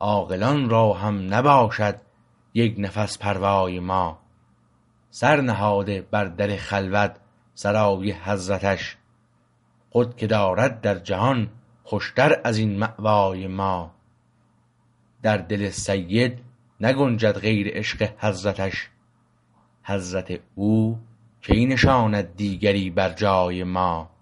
عاقلان را هم نباشد یک نفس پروای ما سر نهاده بر در خلوت سرای حضرتش خود که دارد در جهان خوشتر از این مأوای ما در دل سید نگنجد غیر عشق حضرتش حضرت او کی نشاند دیگری بر جای ما